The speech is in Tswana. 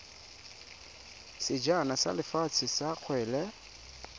sejana sa lefatshe sa kgwele